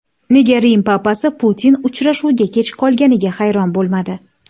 Nega Rim papasi Putin uchrashuvga kech qolganiga hayron bo‘lmadi?